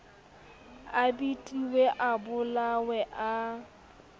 a betilwe a bolailwe a